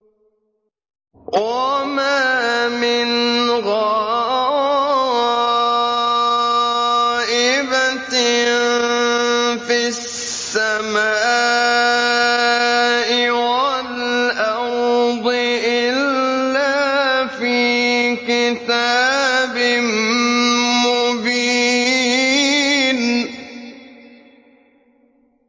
وَمَا مِنْ غَائِبَةٍ فِي السَّمَاءِ وَالْأَرْضِ إِلَّا فِي كِتَابٍ مُّبِينٍ